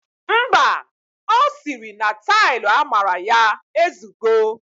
Mba, ọ siri na tailu amara ya ezugo.